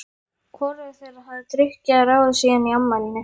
Hvorugur þeirra hafði drukkið að ráði síðan í afmælinu